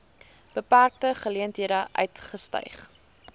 beperkte geleenthede uitgestyg